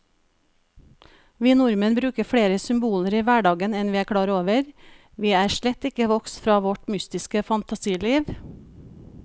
Vi nordmenn bruker flere symboler i hverdagen enn vi er klar over, vi er slett ikke vokst fra vårt mytiske fantasiliv.